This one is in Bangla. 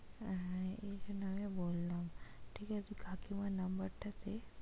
হ্যাঁ হ্যাঁ এইজন্য আমিও বললাম ঠিক আছে কাকিমার number টা দে।